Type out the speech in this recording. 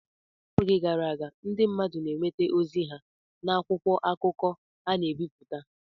N’oge gara aga, ndị mmadụ na-enweta ozi ha n’akwụkwọ akụkọ a na-ebipụta.